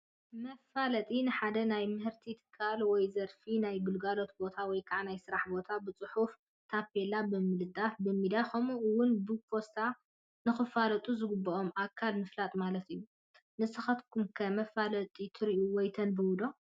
መፋለጢ፡- ንሓደ ናይ ምህርቲ ትካል ወይ ዘርፊ ፣ ናይ ግልጋሎት ቦታ ወይ ከዓ ናይ ስራሕ ቦታ ብፅሑፍ ታፔላ ብምልጣፍ፣ ብሚድያ ከምኡ ውን ብፖስተር ንኽፈልጦ ዝግበኦ ኣካል ምፍላጥ ማለት እዩ፡፡ ንስኻትኩም ከ መፋለጢትሪኡ ወይ ተንብቡ ዶ?